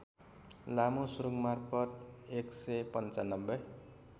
लामो सुरुङमार्फत १९५